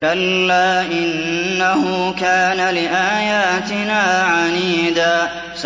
كَلَّا ۖ إِنَّهُ كَانَ لِآيَاتِنَا عَنِيدًا